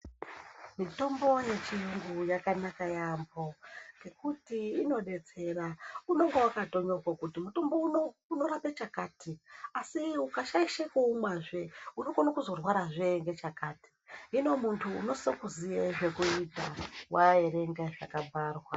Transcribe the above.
Mitombo yechirungu yakanaka yambo ngekuti unodetsera unenge wakanyorwa kuti Mutombo uno unorapa chakati asi ukashaisha kuumwa zve unokona kuzorwarazve muntu unofana kuziva aerenga zvakabharwa.